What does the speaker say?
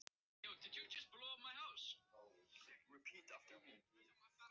Stundum er ljós og stundum ekki.